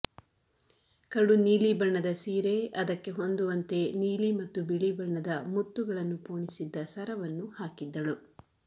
ಕಡು ನೀಲಿ ಬಣ್ಣದ ಸೀರೆ ಅದಕ್ಕೆ ಹೊಂದುವಂತೆ ನೀಲಿ ಮತ್ತು ಬಿಳಿ ಬಣ್ಣದ ಮುತ್ತುಗಳನ್ನು ಪೋಣಿಸಿದ್ದ ಸರವನ್ನು ಹಾಕಿದ್ದಳು